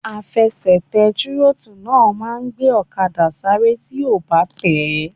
Àfẹsẹ̀tẹ̀ tírótù náà máa n gbé ọ̀kadà sáré tí o bá tẹ̀ẹ́